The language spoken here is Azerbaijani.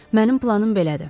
Mənim planım belədir.